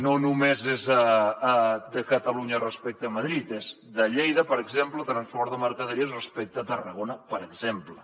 no només és de catalunya respecte a madrid és de lleida per exemple transport de mercaderies respecte a tarragona per exemple